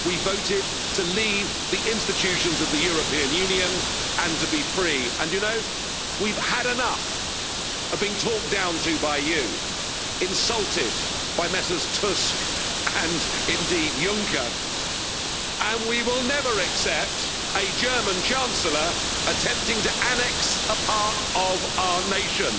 We voted to leave the institutions of the European Union and to be free and, you know, we've had enough of being talked down to by you, insulted by Messrs Tusk and, indeed, Juncker, and we will never accept a German Chancellor attempting to annex a part of our nation.